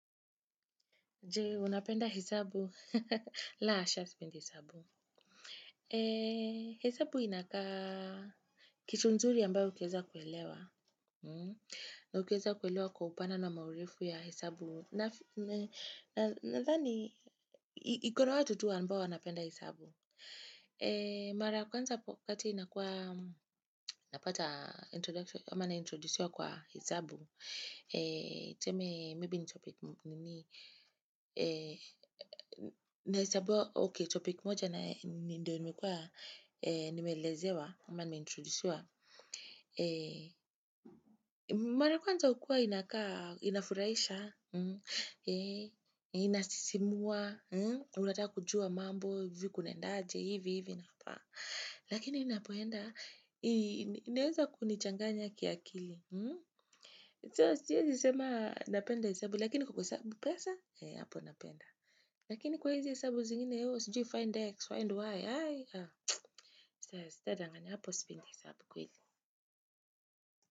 Jee, unapenda hisabu? La, asha spende hisabu. Eh, hisabu inakaa kitu nzuri ambayo ukieza kuelewa. Na ukieza kuelewa kwa upana na maurifu ya hesabu. Na, nadhani, ikona watu tu ambao wanapenda hesabu. Eh, mara ya kwanza kati inakua, napata introduction, ama naintrodusiwa kwa hisabu. Tseme, maybe ni topic moja na ninduwe nimeelezewa, ama nimeintrodusiwa. Mara kuanza ukua inafuraisha, inasisimua, unataka kujua mambo, viku nendaje, hivi, hivi na apa. Lakini inapoenda, ineza kunichanganya kia akili. So siiezi sema napenda hisabu lakini kuku sabu pesa eh apo napenda lakini kwa izi hisabu zingine sijui find x, find y stedanganya apu spenti hisabu kweli.